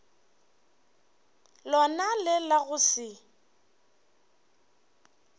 lona le la go se